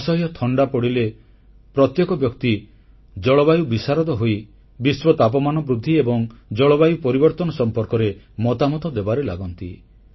ଅସହ୍ୟ ଥଣ୍ଡା ପଡ଼ିଲେ ପ୍ରତ୍ୟେକ ବ୍ୟକ୍ତି ଜଳବାୟୁ ବିଶାରଦ ହୋଇ ବିଶ୍ୱ ତାପମାନ ବୃଦ୍ଧି ଏବଂ ଜଳବାୟୁ ପରିବର୍ତ୍ତନ ସମ୍ପର୍କରେ ମତାମତ ଦେବାରେ ଲାଗନ୍ତି